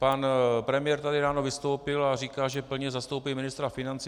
Pan premiér tady ráno vystoupil a říkal, že plně zastoupí ministra financí.